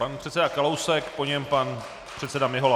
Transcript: Pan předseda Kalousek, po něm pan předseda Mihola.